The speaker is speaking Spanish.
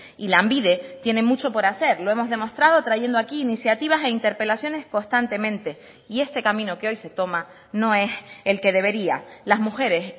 y lanbide tiene mucho por hacer lo hemos demostrado trayendo aquí iniciativas e interpelaciones constantemente y este camino que hoy se toma no es el que debería las mujeres